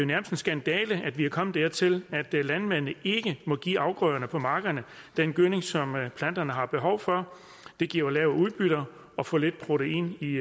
nærmest en skandale at vi er kommet dertil at landmændene ikke må give afgrøderne på markerne den gødning som planterne har behov for det giver lave udbytter og for lidt protein i